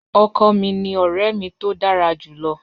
Ọkọ mi ni ọrẹ mi to dara julọ.